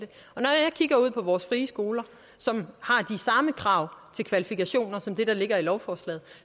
kigger ud på vores frie skoler som har de samme krav til kvalifikationer som det der ligger i lovforslaget